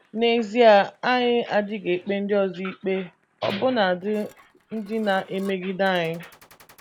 N’ezie, anyị adịghị ekpe ndị ọzọ ikpe, ọbụnadị ndị na - emegide anyị.